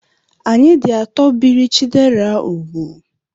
Anyị dị atọ biri Chidera úgwù.